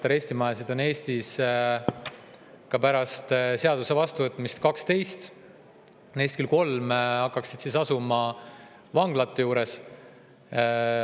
Arestimajasid on Eestis ka pärast seaduse vastuvõtmist 12, küll aga neist kolm hakkaksid asuma vanglate juures.